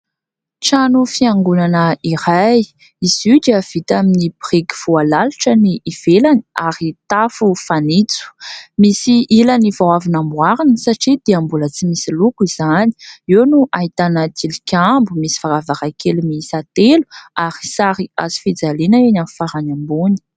Trano fiangonana iray, izy io dia vita amin'ny biriky voalalotra ny ivelany ary tafo fanitso. Misy ilany vao avy namboarina satria dia mbola tsy misy loko izany, eo no ahitana tilikambo, misy varavarankely miisa telo ary sary hazofijaliana eny amin'ny farany ambony.